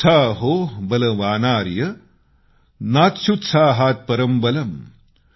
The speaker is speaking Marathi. उत्साहो बलवानार्य नास्त्युत्साहात्परं बलम्